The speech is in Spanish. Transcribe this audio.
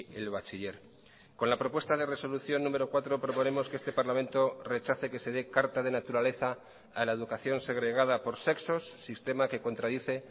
el bachiller con la propuesta de resolución número cuatro proponemos que este parlamento rechace que se dé carta de naturaleza a la educación segregada por sexos sistema que contradice